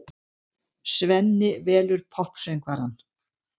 Svenni velur poppsöngvarann.